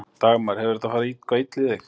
Dagmar: Hefur þetta farið eitthvað illa í þig?